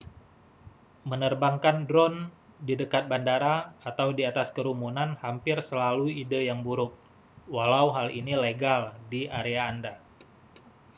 menerbangkan drone di dekat bandara atau di atas kerumunan hampir selalu ide yang buruk walau hal ini legal di area anda